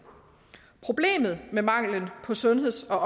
problemet med manglen på sundheds og